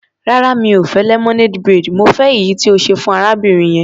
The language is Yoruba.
Rárá, mi ò fẹ́ lemonade braid, mo fẹ́ èyí tí o ṣe fún arábìnrin yẹn.